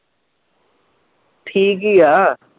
ਠੀਕ ਹੀ ਆ